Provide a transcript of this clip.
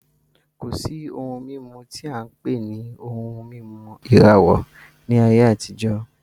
Kò sí ohun mímu tí á ń pè ní ohun mímu ìràwọ ní ayé àtijó